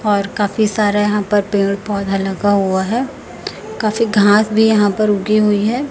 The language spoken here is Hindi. और काफी सारे यहां पर पेड़ पौधा लगा हुवा हैं काफी घास भी यहां पर उगी हुई हैं।